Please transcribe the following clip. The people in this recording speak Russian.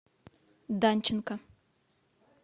данченко